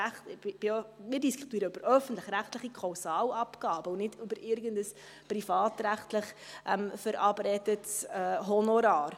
Denn wir diskutieren hier immer noch über öffentlich-rechtliche Kausalabgaben und nicht über irgendein privatrechtlich verabredetes Honorar.